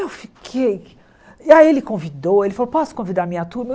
Eu fiquei... Aí ele convidou, ele falou, posso convidar a minha turma?